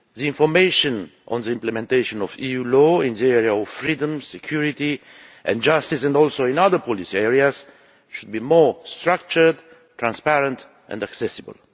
Information on the implementation of EU law in the area of freedom, security and justice and other policy areas should be more structured, transparent and accessible.